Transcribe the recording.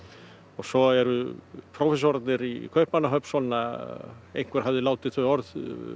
svo eru prófessorarnir í Kaupmannahöfn svona einhver hafði látið þau orð